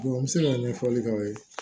n bɛ se ka ɲɛfɔli k'aw ye